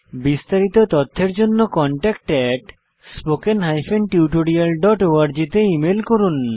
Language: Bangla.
বিস্তারিত তথ্যের জন্য contactspoken tutorialorg তে ইমেল করুন